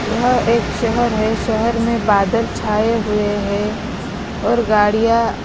यह एक शहर है शहर में बादल छाए हुए हैं और गाड़ियाँ--